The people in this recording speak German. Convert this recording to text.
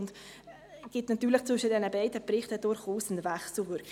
Es gibt natürlich zwischen diesen beiden Berichten durchaus eine Wechselwirkung.